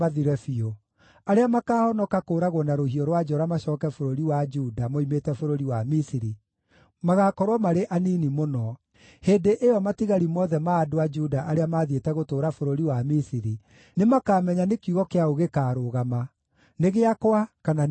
Arĩa makaahonoka kũũragwo na rũhiũ rwa njora macooke bũrũri wa Juda moimĩte bũrũri wa Misiri magaakorwo marĩ anini mũno. Hĩndĩ ĩyo matigari mothe ma andũ a Juda arĩa mathiĩte gũtũũra bũrũri wa Misiri, nĩmakamenya nĩ kiugo kĩa ũ gĩkaarũgama: nĩ gĩakwa kana nĩ kĩao.’